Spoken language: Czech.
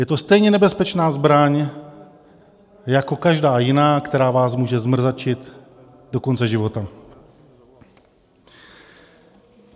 Je to stejně nebezpečná zbraň jako každá jiná, která vás může zmrzačit do konce života.